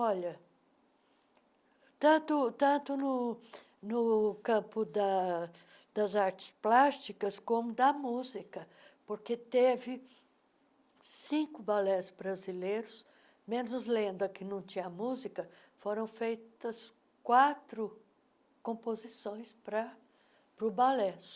Olha, tanto tanto no no campo das das artes plásticas como da música, porque teve cinco balés brasileiros, menos Lenda, que não tinha música, foram feitas quatro composições para para o balé.